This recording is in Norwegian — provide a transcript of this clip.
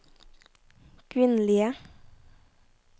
kvinnelige